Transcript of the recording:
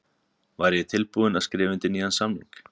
Væri ég tilbúinn til að skrifa undir nýjan samning?